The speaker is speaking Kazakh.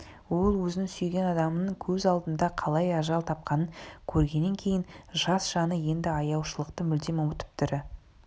ол өзінің сүйген адамының көз алдында қалай ажал тапқанын көргеннен кейін жас жаны енді аяушылықты мүлдем ұмытып тірі